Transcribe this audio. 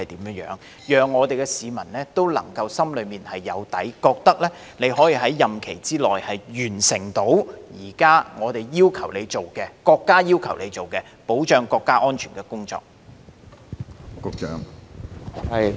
這可讓市民心裏有數，認為你可在任期內完成我們及國家要求你處理的保障國家安全的工作。